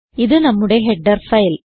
ഇത് നമ്മുടെ header file